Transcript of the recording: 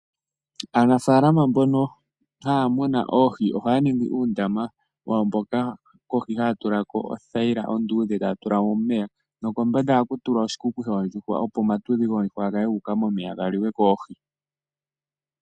Aanafaalama mbono haya munu oohi ohaya ningi uundama wawo mboka kohi haya tula ko othayila onduudhe etaya tula mo omeya nokombanda ohaku tulwa oshikuku shoondjuhwa opo omatudhi goondjuhwa gakale gu uka momeya galiwe koohi.